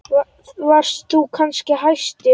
Varst þú kannski hæstur?